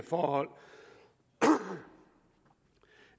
forhold og